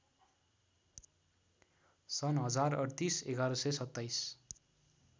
सन् १०३८ ११२७